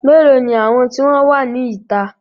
Melo ni àwọn tí wọn wá ní ìta?